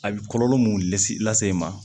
A bɛ kɔlɔlɔ mun lase lase i ma